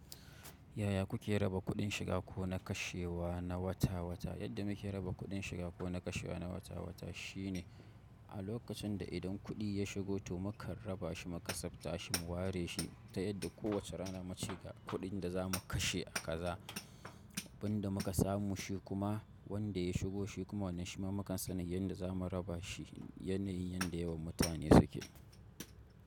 Yaya kuke raba kuɗin shiga ko na kashewa na wata-wata? Yadda muke raba kuɗin shiga ko na kashewa na wata-wata shine a lokacin da idan kuɗi ya shigo to mu kan raba shi muka tsafta shi mu ware shi ta yadda kowace rana mu cika kuɗin da za mu kashe a kaza. Abin da muka samu shi kuma wanda ya shigo shi kuma wannan shi ma mukan san yadda za mu raba shi. Yenayin yenda yewan mutane suke.